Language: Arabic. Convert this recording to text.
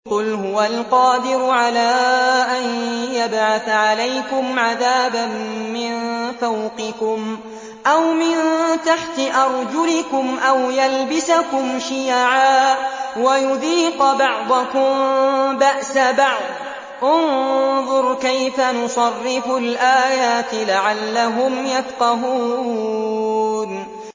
قُلْ هُوَ الْقَادِرُ عَلَىٰ أَن يَبْعَثَ عَلَيْكُمْ عَذَابًا مِّن فَوْقِكُمْ أَوْ مِن تَحْتِ أَرْجُلِكُمْ أَوْ يَلْبِسَكُمْ شِيَعًا وَيُذِيقَ بَعْضَكُم بَأْسَ بَعْضٍ ۗ انظُرْ كَيْفَ نُصَرِّفُ الْآيَاتِ لَعَلَّهُمْ يَفْقَهُونَ